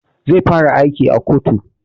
Zai fara aiki a kotu